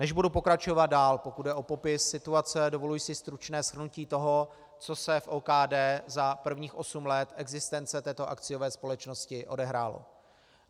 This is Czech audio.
Než budu pokračovat dál, pokud jde o popis situace, dovoluji si stručné shrnutí toho, co se v OKD za prvních osm let existence této akciové společnosti odehrálo.